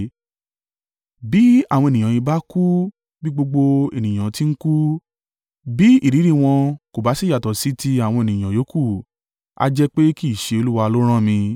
Bí àwọn ènìyàn yìí bá kú bí gbogbo ènìyàn ti ń kú, bí ìrírí wọn kò bá sì yàtọ̀ sí ti àwọn ènìyàn yòókù, a jẹ́ pé kì í ṣe Olúwa ló rán mi.